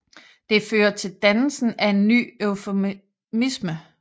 Det fører til dannelsen af en ny eufemisme